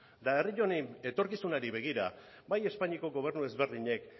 eta herri honen etorkizunari begira bai espainiako gobernu ezberdinek